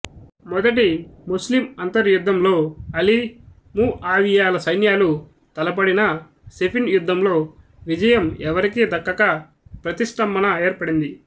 మొదటి ముస్లిం అంతర్యుద్ధంలో అలీ ముఆవియాల సైన్యాలు తలపడినా సిఫిన్ యుద్ధంలో విజయం ఎవరికీ దక్కక ప్రతిష్టంభన ఏర్పడింది